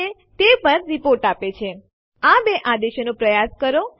આ કિસ્સામાં આપણી પાસે f વિકલ્પ છે જે ફાઈલને દબાણપૂર્વક રદ કરે છે